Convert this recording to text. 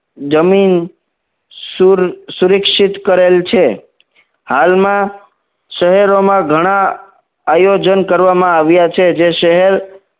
જમીન શુર સુરક્ષિત કરેલ છે હાલમાં શહેરોમાં ઘણા આયોજન કરવામાં આવ્યા છે જે શહેર